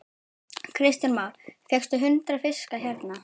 Kristján Már: Fékkstu hundrað fiska hérna?